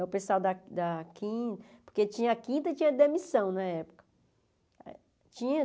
O pessoal da da quin, porque tinha quinta e tinha demissão na época. Tinha